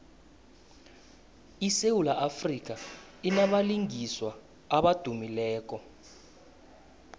isewula afrika inabalingiswa abadumileko